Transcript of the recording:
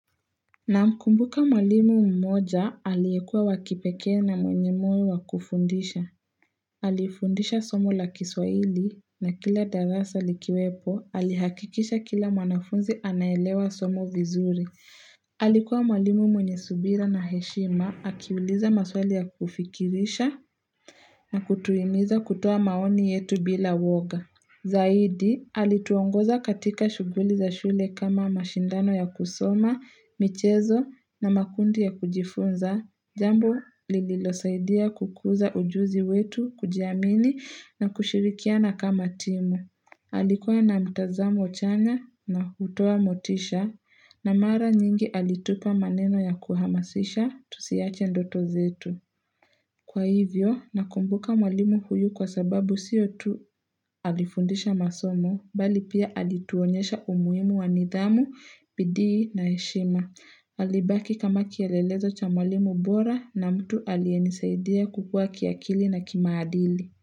Na mkumbuka mwalimu mmoja, aliekua wakipeke na mwenye mwenye wa kufundisha. Alifundisha somo la kiswaili, na kila darasa likiwepo, alihakikisha kila mwanafunzi anaelewa somo vizuri. Alikuwa mwalimu mwenye subira na heshima, akiwuliza maswali ya kufikirisha, na kutuimiza kutoa maoni yetu bila woga. Zaidi, alituongoza katika shuguli za shule kama mashindano ya kusoma, michezo na makundi ya kujifunza, jambo lililosaidia kukuza ujuzi wetu kujiamini na kushirikiana kama timu. Alikuwa na mtazamo chanya na utoa motisha na mara nyingi alitupa maneno ya kuhamasisha tusiache ndoto zetu. Kwa hivyo, nakumbuka mwalimu huyu kwa sababu siyo tu alifundisha masomo, bali pia alituonyesha umuimu wanidhamu, bidii na heshima. Alibaki kama kielelezo cha mwalimu bora na mtu alienisaidia kukua kiakili na kimaadili.